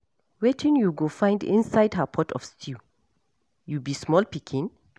Wetin you go find inside her pot of stew? You be small pikin?